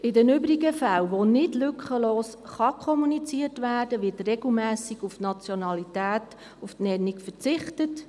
In den übrigen Fällen, in welchen nicht lückenlos kommuniziert werden kann, wird regelmässig auf die Nennung der Nationalität verzichtet.